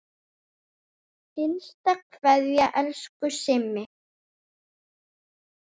HINSTA KVEÐJA Elsku Simmi.